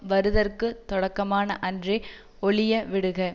வருதற்குத் தொடக்கமான அன்றே யொழிய விடுக